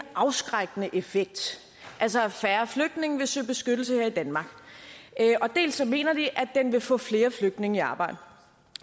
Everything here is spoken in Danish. afskrækkende effekt altså at færre flygtninge vil søge beskyttelse her i danmark og dels mener de at den vil få flere flygtninge i arbejde